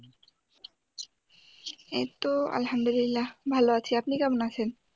এইতো আলহামদুলিল্লাহ্‌ ভালো আছি আপনি কেমন আছেন?